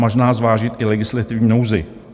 Možná zvážit i legislativní nouzi.